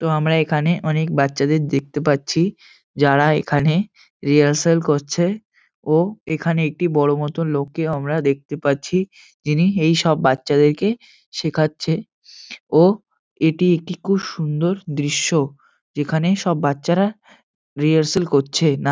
তো আমরা এখানে অনেক বাচ্চাদের দেখতে পাচ্ছি। যারা এখানে রিয়ারসেল করছে ও এখানে একটি বড় মত লোককেও আমরা দেখতে পাচ্ছি। যিনি এইসব বাচ্ছাদেরকে শেখাচ্ছে ও এটি একটি খুব সুন্দর দৃশ্য। যেখানে সব বাচ্চারা রিয়ারসেল করছে। না--